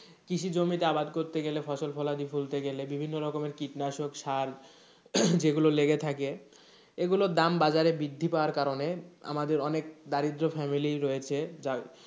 কৃষি জমিতে আবাদ করতে গেলে, ফসল ফলাদি ফলতে গেলে বিভিন্ন রকমের কৃষি কীটনাশক সার যেগুলো লেগে থাকে এই গুলোর দাম বাজারে বৃদ্ধি পাওয়ার কারণে আমাদের অনেক দারিদ্র family ই রয়েছে যার,